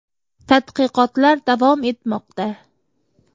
Tadqiqotlar davom etmoqda.